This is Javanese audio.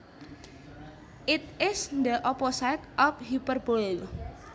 It is the opposite of hyperbole